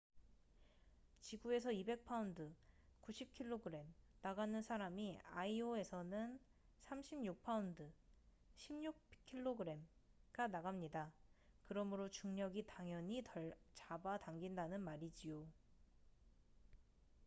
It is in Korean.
지구에서 200파운드 90킬로그램 나가는 사람이 아이오에서는 36파운드 16킬로그램가 나갑니다. 그러므로 중력이 당연히 덜 잡아 당긴다는 말이지요